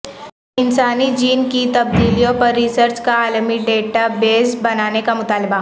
انسانی جین کی تبدیلیوں پر ریسرچ کا عالمی ڈیٹا بیس بنانے کا مطالبہ